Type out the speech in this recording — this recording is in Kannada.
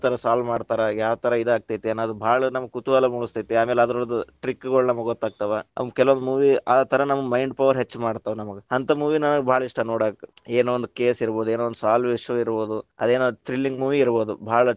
ಥರಾ solve ಮಾಡ್ತಾರಾ, ಯಾವ ಥರಾ ಇದ ಆಗ್ತೇತಿ ಅನ್ನೋದ್‌ ನಮಗ ಭಾಳ ಕುತೂಹಲ ಮೂಡಸ್ತೇತಿ, ಆಮೇಲ ಅದರ್ದ trick ಗಳು ನಮಗ್ ಗೊತ್ತಾಗ್ತಾವ. ಕೆಲವು movie ಆ ಥರಾ ನಮ್ಮ್‌ mind power ಹೆಚ್ಚ ಮಾಡ್ತಾವ ನಮಗ್‌. ಅಂತ movie ನಮಗ್ ಭಾಳ ಇಷ್ಟಾ ನೋಡಾಕ. ಏನೋ ಒಂದ್‌ case ಇರಬೋದ್, ಏನೋ ಒಂದ್‌ solve ಆಗೋ ವಿಷಯಾ ಇರಬೋದು, ಅದೇನೊ thrilling movie ಇರಬೋದು, ಭಾಳ.